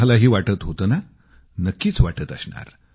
तुम्हालाही वाटत होतं ना नक्कीच वाटत असणार